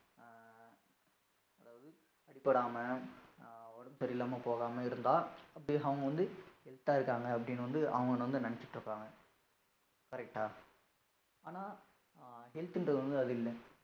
அடிபடாம ஆஹ் உடம்பு சரியில்லாம போகாம இருந்தா, அப்படியே அவங்க வந்து, health ஆ இருக்காங்க அப்படின்னு வந்து அவங்க வந்து நணச்சீட்டு இருப்பாங்க correct ஆ? ஆனா health ன்றது வந்து, அது இல்லை.